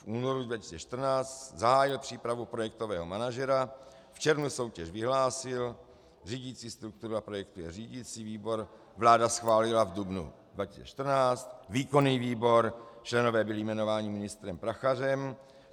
V únoru 2014 zahájil přípravu projektového manažera, v červnu soutěž vyhlásil, řídicí struktura projektu je řídicí výbor, vláda schválila v dubnu 2014, výkonný výbor, členové byli jmenováni ministrem Prachařem.